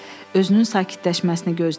Özünün sakitləşməsini gözlədilər.